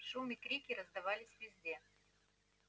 шум и крики раздавались везде